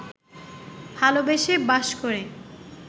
ভালোবেসে বাস করে